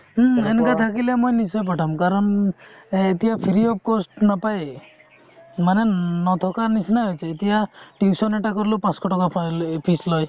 হুম সেনেকুৱা থাকিলে মই নিশ্চয় পঠাম কাৰণ এতিয়া free of cost নাপায়ে মানে নথকাৰ নিচিনা হৈছে এতিয়া tuition এটা কৰিলেও পাচঁশ টকা fees লয়